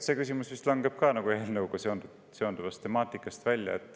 See küsimus langeb vist samuti eelnõuga seonduvast temaatikast välja.